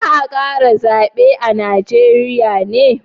Za a kara zabe a Najeriya ne?